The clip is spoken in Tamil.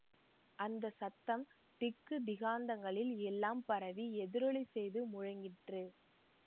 அந்த சத்தம் திக்கு திகாந்தங்களில் எல்லாம் பரவி எதிரொலி செய்து முழங்கிற்று